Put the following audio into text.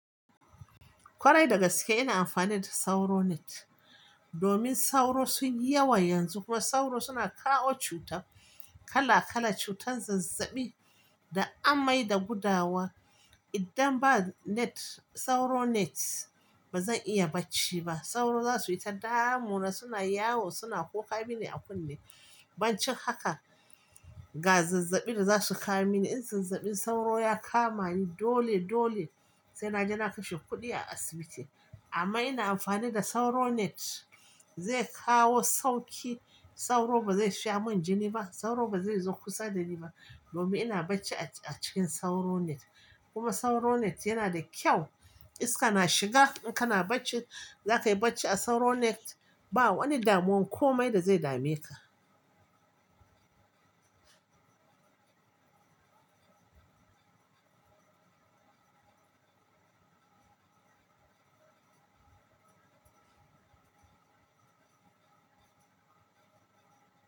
Kwarai da gaske ina amfani da sauro net domin sauro sun yi yawa yanxun kuma sauro suna kawo cuta kala kala, cutan zazzabi da amai da gudawa idan ba net, sauro net ba zan iya bacci ba. Sauro za su yi ta damu na suna yawo suna kuka mini a kunne. Bancin haka ga zazzaɓin da za su kawo mini in zazzaɓin sauro ya kama ni dole, dole sai na je na kashe kuɗi a asibiti. Amman ina amfani da sauro net zai kawo sauki. Sauro ba zai sha mun jini ba, sauro ba zai zo kusa da ni ba domin ina bacci a cikin sauro net. Kuma sauro net yana da kyau iska na shiga in kana bacci zaka yi bacci a sauro net ba wani damuwan komai da zai dame ka.